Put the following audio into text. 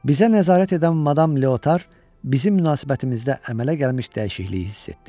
Bizə nəzarət edən madam Leotar bizim münasibətimizdə əmələ gəlmiş dəyişikliyi hiss etdi.